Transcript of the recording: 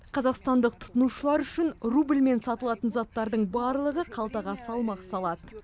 қазақстандық тұтынушылар үшін рубльмен сатылатын заттардың барлығы қалтаға салмақ салады